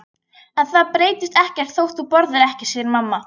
En það breytist ekkert þótt þú borðir ekki, segir mamma.